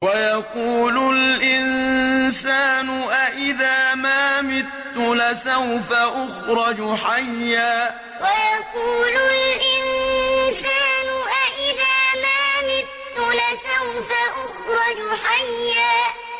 وَيَقُولُ الْإِنسَانُ أَإِذَا مَا مِتُّ لَسَوْفَ أُخْرَجُ حَيًّا وَيَقُولُ الْإِنسَانُ أَإِذَا مَا مِتُّ لَسَوْفَ أُخْرَجُ حَيًّا